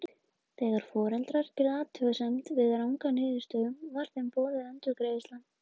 Þegar foreldrar gerðu athugasemd við ranga niðurstöðu var þeim boðin endurgreiðsla.